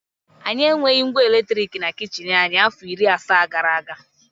Anyị enweghị ngwa eletrik na kichin anyị afọ iri asaa gara aga.